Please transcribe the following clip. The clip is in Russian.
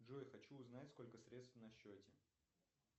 джой хочу узнать сколько средств на счете